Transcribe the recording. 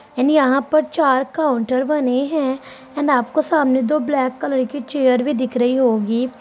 and यहाँ पर चार काउंटर बने हैं एंड आपको सामने दो ब्लैक कलर की चेयर भी दिख रही होगी |